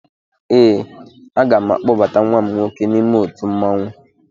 Ee, aga m akpọbata nwa m nwoke n'ime otu mmanwụ